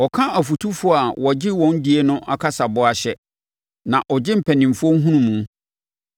Ɔka afotufoɔ a wɔgye wɔn die no kasaboa hyɛ, na ɔgye mpanimfoɔ nhunumu.